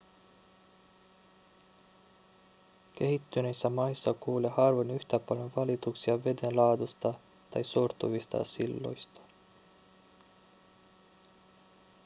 kehittyneissä maissa kuulee harvoin yhtä paljon valituksia vedenlaadusta tai sortuvista silloista